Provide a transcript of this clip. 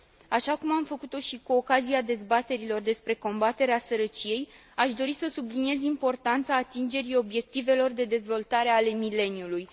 Așa cum am făcut o și cu ocazia dezbaterilor despre combaterea sărăciei, aș dori să subliniez importanța atingerii obiectivelor de dezvoltare ale mileniului.